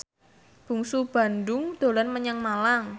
Bungsu Bandung dolan menyang Malang